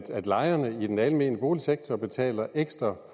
lejerne i den almene boligsektor betaler ekstra